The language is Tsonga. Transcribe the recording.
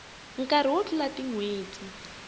nkarhi wo tlula tin hweti